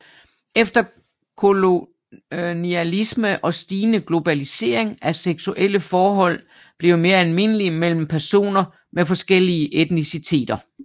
Efter kolonialisme og stigende globalisering er seksuelle forhold blevet mere almindelige mellem personer med forskellige etniciteter